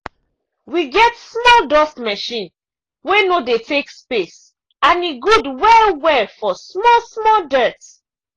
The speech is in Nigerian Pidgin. we get small dust machine wey no de take space and e good well well for small-small dirt.